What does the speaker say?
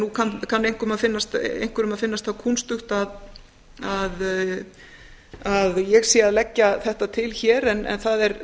nú kann einhverjum að finnast það kúnstugt að ég sé að leggja þetta til hér en það er